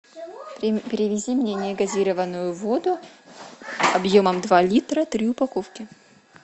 привези мне негазированную воду объемом два литра три упаковки